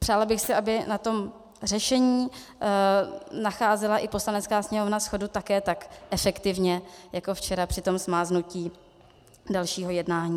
Přála bych si, aby na tom řešení nacházela i Poslanecká sněmovna shodu také tak efektivně jako včera při tom smáznutí dalšího jednání.